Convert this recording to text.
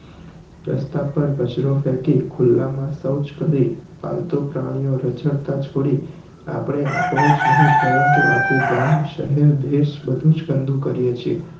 રસ્તા પર કચરો ફેંકી ખુલ્લા માં શૌચ કરી પાલતું પ્રાણી ને રઝળતા છોડી આપણે આપણું જ નહિ પરંતુ આખું ગામ શહેર દેશ બધું જ ગંદુ કરીયે છે